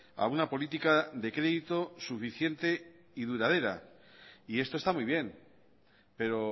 a una política de crédito suficiente y duradera y esto está muy bien pero